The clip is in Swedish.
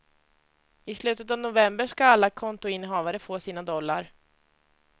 I slutet av november ska alla kontoinnehavare få sina dollar.